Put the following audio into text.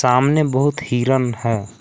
सामने बहुत हिरण है।